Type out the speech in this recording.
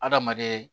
Adamaden